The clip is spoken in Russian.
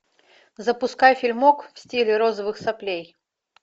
запускай фильмок в стиле розовых соплей